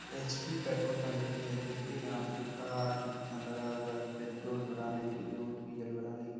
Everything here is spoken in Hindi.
एच.पी. पेट्रोल टंकी है देखिये यहाँ पे कार कितना लगा हुआ है पेट्रोल भराने के लिए और डीजल भराने के --